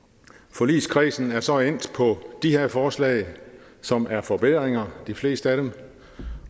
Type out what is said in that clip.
forligskredsen er så endt på de her forslag som er forbedringer de fleste af dem